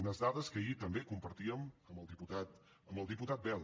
unes dades que ahir també compartíem amb el diputat bel